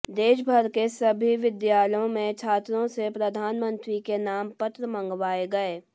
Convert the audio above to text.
देशभर के सभी विद्यालयों में छात्रों से प्रधानमंत्री के नाम पत्र मगवाएं गए